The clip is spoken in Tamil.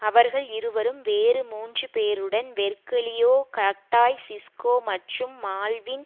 அவர்கள் இருவரும் வேறு மூன்று பேருடன் வெர்க்கிளியோ கட்டாய் சிஸ்கோ மற்றும் மால்வின்